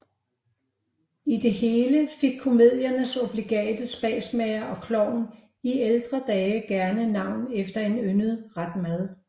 I det hele fik komediernes obligate spasmager og klovn i ældre dage gerne navn efter en yndet ret mad